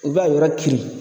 U b'a yɔrɔ kirin.